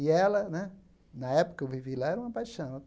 E ela né, na época eu vivi lá, era uma paixão.